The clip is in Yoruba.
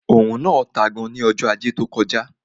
Òrùn náà tán gan ní ọjọ́ ajé tó kọjá